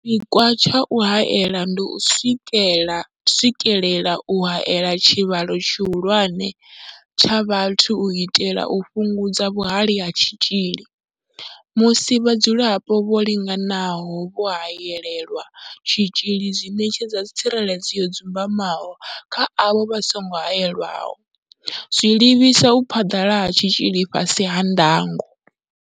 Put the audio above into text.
Tshipikwa tsha u haela ndi u swikelela u haela tshivhalo tshihulwane tsha vhathu u itela u fhungudza vhuhali ha tshitzhili. Musi vhadzulapo vho linganaho vho haelelwa tshitzhili zwi ṋetshedza tsireledzo yo dzumbamaho kha avho vha songo haelwaho, zwa livhisa u phaḓalala ha tshitzhili fhasi ha ndango.